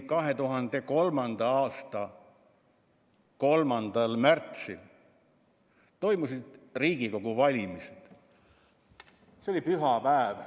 2003. aasta 3. märtsil toimusid Riigikogu valimised, see oli pühapäev.